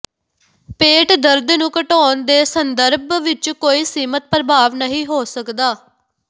ਪੇਟ ਦਰਦ ਨੂੰ ਘਟਾਉਣ ਦੇ ਸੰਦਰਭ ਵਿੱਚ ਕੋਈ ਸੀਮਿਤ ਪ੍ਰਭਾਵ ਨਹੀਂ ਹੋ ਸਕਦਾ